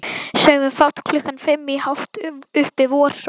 Sögðum fátt klukkan fimm í hátt uppi vorsól.